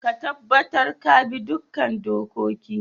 Ka tabatar ka bi duka dokokin